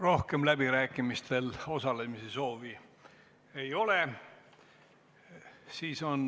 Rohkem läbirääkimistel osalemise soovi ei ole.